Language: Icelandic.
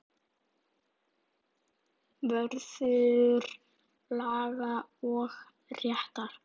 Vörður laga og réttar.